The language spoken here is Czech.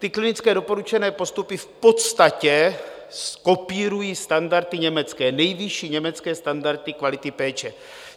Ty klinické doporučené postupy v podstatě kopírují standardy německé, nejvyšší německé standardy kvality péče.